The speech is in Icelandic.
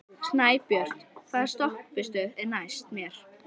Snæbjört, hvaða stoppistöð er næst mér?